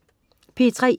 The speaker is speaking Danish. P3: